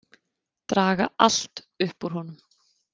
Draga allt upp úr honum.